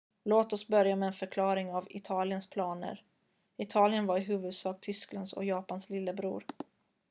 "låt oss börja med en förklaring av italiens planer. italien var i huvudsak tysklands och japans "lillebror"".